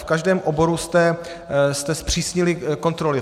V každém oboru jste zpřísnili kontroly.